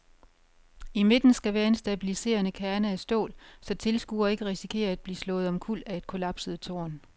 I midten skal være en stabiliserende kerne af stål, så tilskuere ikke risikerer at blive slået omkuld af et kollapset tårn.